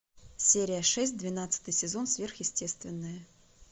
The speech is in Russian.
серия шесть двенадцатый сезон сверхъестественное